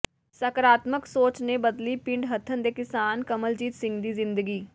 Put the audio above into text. ਸਾਕਾਰਤਮਕ ਸੋਚ ਨੇ ਬਦਲੀ ਪਿੰਡ ਹਥਨ ਦੇ ਕਿਸਾਨ ਕਮਲਜੀਤ ਸਿੰਘ ਦੀ ਜ਼ਿੰਦਗੀ